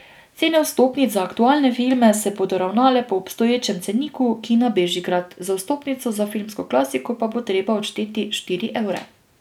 Cene vstopnic za aktualne filme se bodo ravnale po obstoječem ceniku Kina Bežigrad, za vstopnico za filmsko klasiko pa bo treba odšteti štiri evre.